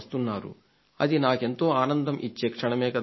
అది నాకెంతో ఆనందం ఇచ్చే క్షణమే కదా అది